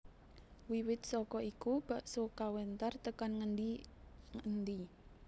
Wiwit saka iku bakso kawentar tekan ngendi endi